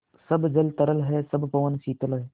सब जल तरल है सब पवन शीतल है